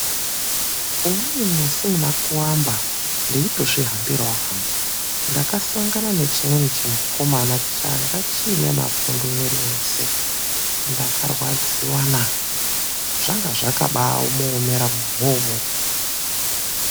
UMWENI MUSI MUNA KUAMBA NDEITOZVIHAMBIRAWO HANGU, NDAKASANGANA NECHIMWENI CHIMUKOMANA CHAKANGA CHIINE MAPUNDU MWIRI WESE NDAKARWADZIWA NAA. ZVANGA ZVAKABAMUOMERA MUNHU WOUWOWO.